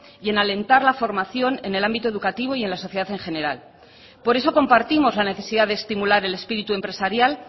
y en alentar la formación en el ámbito educativo y en la sociedad en general por eso compartimos la necesidad de estimular el espíritu empresarial